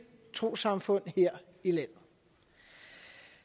trossamfund her i landet